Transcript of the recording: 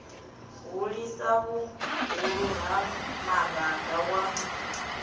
hulisa vhuhulu ha maraga wa